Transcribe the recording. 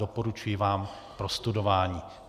Doporučuji vám k prostudování.